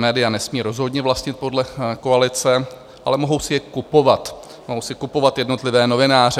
Média nesmí rozhodně vlastnit podle koalice, ale mohou si je kupovat, mohou si kupovat jednotlivé novináře.